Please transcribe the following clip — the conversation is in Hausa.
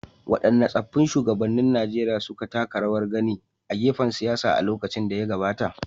Waɗanne tsaffin shugabannin Najeriya suka taka rawar gani a fagen siyasa a lokacin da ya gabata.